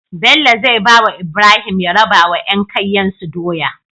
Bello zai bawa Ibrahim ya rabawa yan kaiyen su doya